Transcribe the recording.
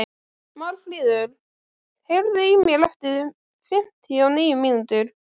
Marfríður, heyrðu í mér eftir fimmtíu og níu mínútur.